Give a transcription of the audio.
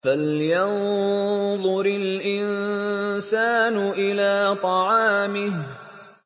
فَلْيَنظُرِ الْإِنسَانُ إِلَىٰ طَعَامِهِ